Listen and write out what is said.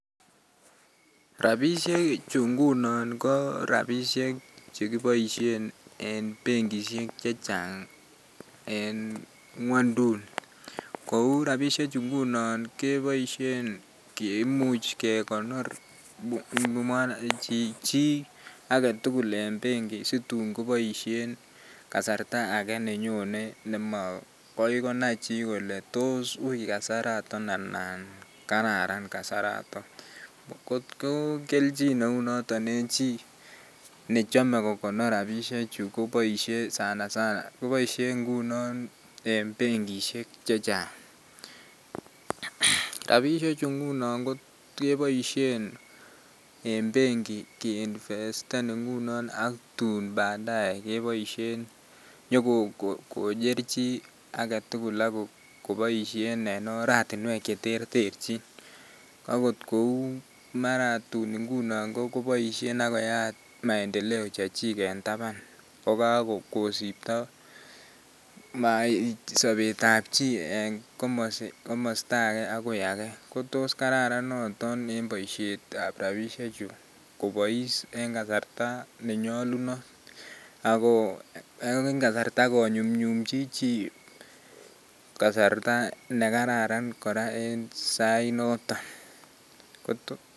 Rabishechu ngunon ko rabishek chekiboishen en benkishek chechang en ngwonduni kouu rabishek chu ngunon keboishen kimuch kekonor chii aketukul en benki situn koboishen kasarta akee nenyone nemakai konai chii kolee toos uii kasaraton anan kararan kasaraton, kot ko kelchin neunoton en chii nechome kokonor rabishechu koboishe sana sana koboishe ngunon en benkishek chechang, rabishechu ngunono keboishen en benki ki investen ngunon ak tun badae keboishen, nyokocher chii aketukul ak koboishen en oratinwek cheterterchin, akot kouu mara tun inguno koboishen ak koyaat maendeleo chechik en taban ko kokosibto sobetab chii en komosto akee akoi akee kotos kararan noton en boishetab rabishechu kobois en kasarta nenyolunot ak ko eng kasarta konyumnyumchi chii kasarta nekararan kora en sait noton.